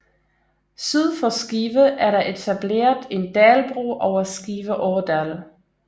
Syd for Skive er der etableret en dalbro over Skive Ådal